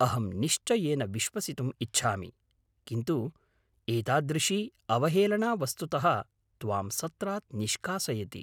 अहं निश्चयेन विश्वसितुम् इच्छामि, किन्तु एतादृशी अवहेलना वस्तुतः त्वां सत्रात् निष्कासयति।